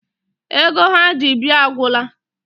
Ego ha ji bịa agwụla.